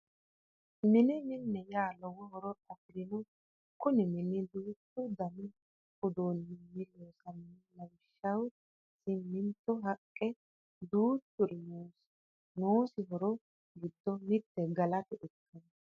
Mine mine yaa lowo horo afirino Kuni mini duuchu Dani uduuninni loosamino lawwshshaho siminto haqqe duuchuri noosi noosi horo giddo mitte galate ikkano